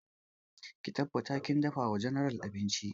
Ki tabbata kin dafa wa general abinci!